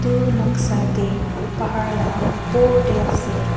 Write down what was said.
tu noksa tey pahar lah opor tey ase.